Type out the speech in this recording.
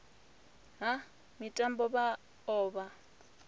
ha mitambo vha o vha